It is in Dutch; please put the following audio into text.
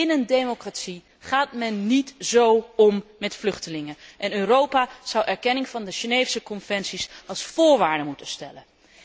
In een democratie gaat men niet zo om met vluchtelingen en Europa zou erkenning van de Geneefse conventies als voorwaarde moeten stellen.